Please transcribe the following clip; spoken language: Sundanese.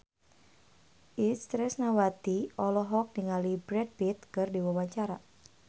Itje Tresnawati olohok ningali Brad Pitt keur diwawancara